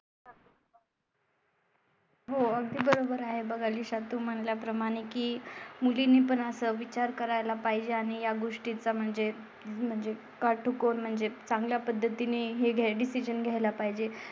हो अगदी बरोबर आहे बघ. आयुष्यात तुम्हाला प्रमाणे की मुलींनी पण असं विचार करायला पाहिजे आणि या गोष्टी चा म्हणजे म्हणजे काटकोन म्हणजे चांगल्या पद्धतीने हे डिसिजन घ्यायला पाहिजे.